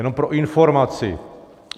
Jenom pro informaci.